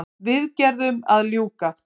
Viðgerðum að ljúka